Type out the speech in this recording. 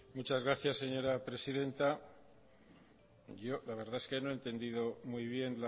muchas gracias señora presidenta yo la verdad es que no he entendido muy bien